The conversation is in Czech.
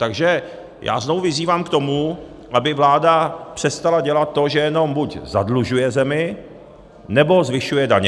Takže já znovu vyzývám k tomu, aby vláda přestala dělat to, že jenom buď zadlužuje zemi, nebo zvyšuje daně.